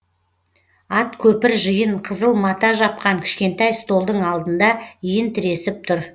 ат көпір жиын қызыл мата жапқан кішкентай столдың алдында иін тіресіп тұр